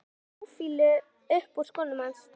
Það leggur táfýlu upp úr skónum hans.